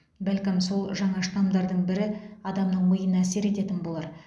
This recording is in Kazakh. бәлкім сол жаңа штамдардың бірі адамның миына әсер ететін болар